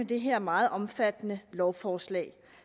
det her meget omfattende lovforslag